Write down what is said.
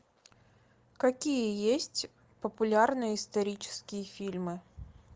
какие есть популярные исторические фильмы